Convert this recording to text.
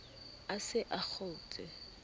a se a a kgotshe